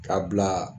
K'a bila